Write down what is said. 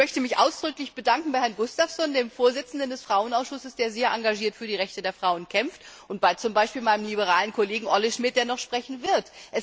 Ich möchte mich ausdrücklich bedanken bei Herrn Gustafsson, dem Vorsitzenden des Frauenausschusses, der sehr engagiert für die Rechte der Frauen kämpft, und auch bei meinem liberalen Kollegen, Olle Schmidt, der noch sprechen wird.